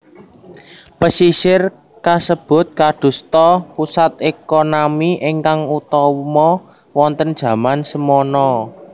Pesisir kasebut kadosta pusat ekonami ingkang utama wonten jaman semana